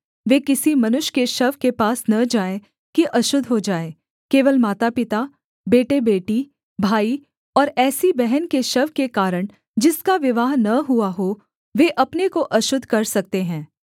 वे किसी मनुष्य के शव के पास न जाएँ कि अशुद्ध हो जाएँ केवल मातापिता बेटेबेटी भाई और ऐसी बहन के शव के कारण जिसका विवाह न हुआ हो वे अपने को अशुद्ध कर सकते हैं